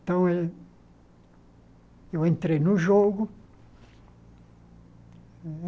Então, eu eu entrei no jogo.